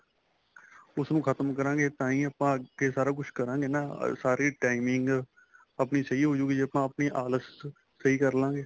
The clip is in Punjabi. ਉਸ ਨੂੰ ਖ਼ਤਮ ਕਰਾਗੇ ਤਾਹੀ ਆਪਾਂ ਅੱਗੇ ਸਾਰਾ ਕੁੱਛ ਕਰਾਗੇ ਨਾ ਸਾਰੀ timing ਆਪਣੀ ਸਹੀਂ ਹੋ ਜਾਉਗੀ ਜ਼ੇ ਆਪਾਂ ਆਪਣੀ ਆਲਸ਼ ਸਹੀਂ ਕਰ੍ਲਾਗੇ